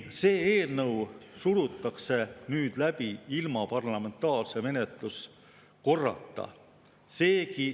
See eelnõu surutakse nüüd läbi ilma parlamentaarse menetluskorrata.